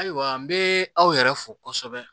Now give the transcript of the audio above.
Ayiwa n bee aw yɛrɛ fo kosɛbɛ